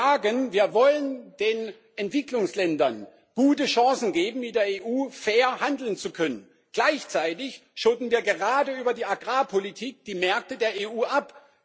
Wir sagen, wir wollen den Entwicklungsländern gute Chancen geben, mit der EU fair handeln zu können, gleichzeitig schotten wir gerade über die Agrarpolitik die Märkte der EU ab.